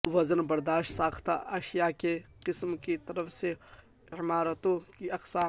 وزن برداشت ساختہ اشیاء کی قسم کی طرف سے عمارتوں کی اقسام